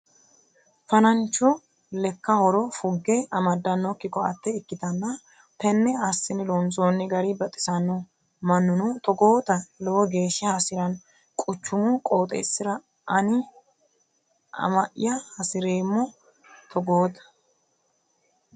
Fa'nancho lekka horo fugge amadanokki koate ikkittanna tene assine loonsonni gari baxisanoho mannuno togootta lowo geeshsha hasirano quchumu qooxeesira ani umi'ya hasireemmo togootta.